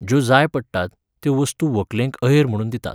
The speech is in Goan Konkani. ज्यो जाय पडटात, त्यो वस्तू व्हंकलेक अहेर म्हुणून दितात.